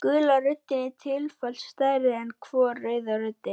Gula röndin er tvöfalt stærri en hvor rauða röndin.